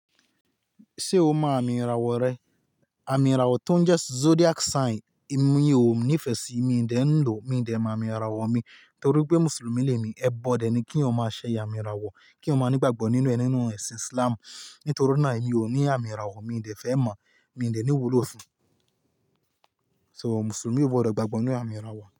Ṣé o mọ àmì ìràwọ̀ rẹ? Àmì ìràwọ̀ tó ń jẹ́ zodiac sign èmi ò ní ìfẹ sí i, mi de n lò, mi ò de mọ àmì ìràwọ̀ mi torí pé Mùsùlùmí ni èmi. Ẹbọ́ dẹ ni kí eeyan má ṣe àmì ìràwọ̀, kí eeyan má ní ìgbàgbọ́ nínú ẹ ninu ẹ̀sìn Islam torí náà èmi ò ní àmì ìràwọ̀, mi de fẹ́ mọ̀, mi de ní iwúlò fún. So Mùsùlùmí ò gbọdọ̀ gbàgbọ́ nínú àmì ìràwọ̀.